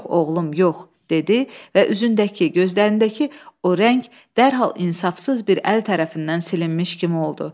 Yox, oğlum, yox dedi və üzündəki, gözlərindəki o rəng dərhal insafsız bir əl tərəfindən silinmiş kimi oldu.